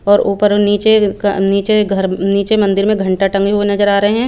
और ऊपर नीचे का नीचे घर नीचे मंदिर में घंटा टंगे हुए नज़र आरहे है।